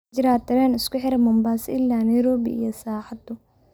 ma jiraa tareen isku xidha mombasa ilaa nairobi iyo saacadu